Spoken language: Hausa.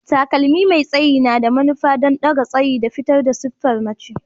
Takalmi mai tsayi na da manufa don ɗaga tsayi da fitar da siffar mace.